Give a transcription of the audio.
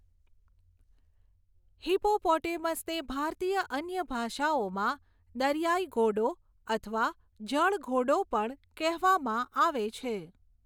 હિપોપોટેમસને ભારતીય અન્ય ભાષાઓમાં દરિયાઈ ઘોડો અથવા જળઘોડો પણ કહેવામાં આવે છે.